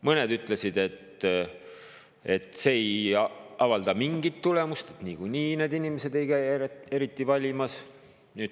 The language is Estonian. Mõned ütlesid, et see ei avalda mingit, niikuinii need inimesed ei käi eriti valimas.